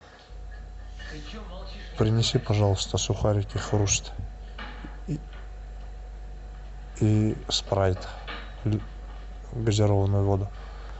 принеси пожалуйста сухарики хруст и спрайт газированную воду